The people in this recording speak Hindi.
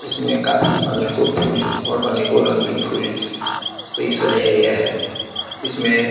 इसमें काफी अनेको फूल और अनेको रंग कि फूल से सजाया गया है इसमें --